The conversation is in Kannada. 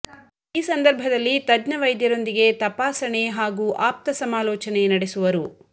ಈ ಸಂದರ್ಭದಲ್ಲಿ ತಜ್ಞ ವೈದ್ಯರೊಂದಿಗೆ ತಪಾಸಣೆ ಹಾಗೂ ಆಪ್ತ ಸಮಾಲೋಚನೆ ನಡೆಸುವರು